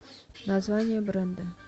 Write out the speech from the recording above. название бренда